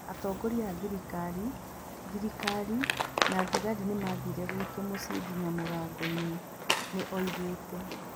Atongoria a thirikari, thirikari, na thigari nĩ maathire gwitũ mũciĩ nginya mũrango-inĩ", nĩ oigĩte.